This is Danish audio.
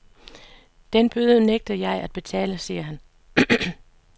Den bøde nægter jeg at betale, siger han.